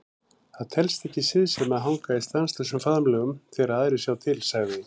Það telst ekki siðsemi að hanga í stanslausum faðmlögum þegar aðrir sjá til, sagði